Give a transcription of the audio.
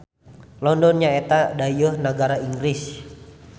London nyaeta dayeuh nagara Inggris.